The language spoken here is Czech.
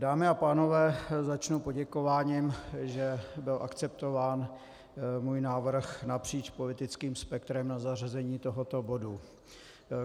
Dámy a pánové, začnu poděkováním, že byl akceptován můj návrh napříč politickým spektrem na zařazení tohoto bodu.